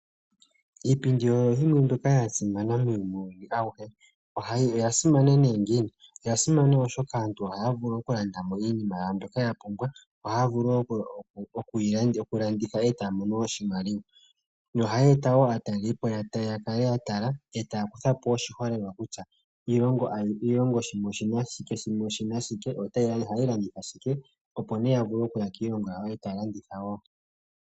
Iipindi oyo yimwe mbyoka yasimana muuyuni awuhe. Oyasimana ne ngiini ? Oyasimana oshoka aantu ohaya vulu okulandamo iinima yawo mbyoka yapumbwa. Ohaya vulu wo okulanditha e tamono oshimaliwa. Yo ohayi eta wo aatalelipo yakale yatala e taya kutha po oshiholelwa kutya, iilongo ano iilongo shimwe oshina shike, shimwe oshina shike, yo ohayi landitha shike, opo ne yavule okuya kiilongo yawo e taya landitha wo.